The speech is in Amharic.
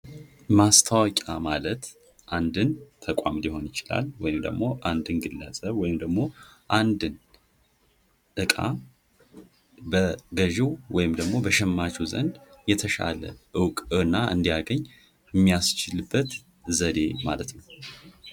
ማስታወቂያ ማለት አንድን ተቋም ሊሆን ይችላል ወይም አንድን ግለሰብ ወይም ደግሞ አንድን እቃ በገዥው ወይም በሸማቾ ዘንድ የተሻለ እውቅና እንዲያገኝ የሚያስችልበት ዘዴ ማለት ነው።